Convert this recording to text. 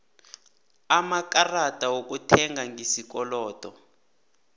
amakarada wokuthenga ngesikolodo